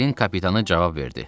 Rahilin kapitanı cavab verdi.